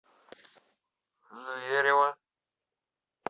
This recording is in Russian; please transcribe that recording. зверево